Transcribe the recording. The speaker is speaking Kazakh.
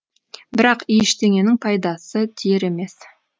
бірақ ештеңенің пайдасы тиер емес